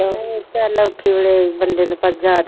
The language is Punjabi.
ਚੱਲ ਔਖੇ ਵੇਲੇ ਬੰਦੇ ਨੂੰ ਪਰ ਯਾਦ